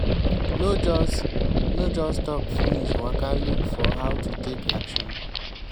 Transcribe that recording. no just no just talk finish waka look for how to take action